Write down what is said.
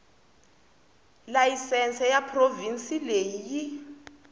layisense ya provhinsi leyi yi